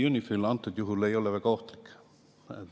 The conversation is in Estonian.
UNIFIL ei ole väga ohtlik.